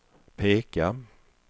peka